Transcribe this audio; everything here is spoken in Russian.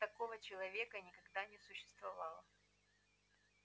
такого человека никогда не существовало